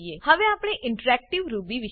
હવે આપણે interactive Ruby